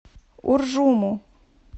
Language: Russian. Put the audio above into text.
уржуму